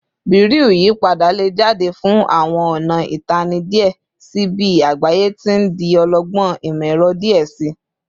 Bereau iyipada le jade fun awọn ọna Itanna diẹ sii bi agbaye ti n di ọlọgbọn imọ-ẹrọ diẹ sii